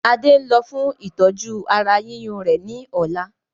Adé ń lọ fún ìtọ́jú ara yíyún rẹ ni ọ̀la